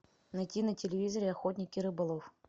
найти на телевизоре охотник и рыболов